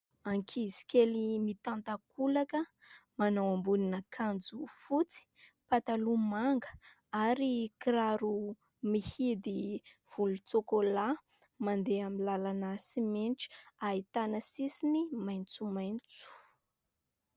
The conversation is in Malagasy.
Ankizy kely mitan-takolaka, manao ambonin'akanjo fotsy, mpataloha manga ary kiraro mihidy volotsokolà, mandeha amin'ny lalana simenitra ahitana sisiny maitsomaitso.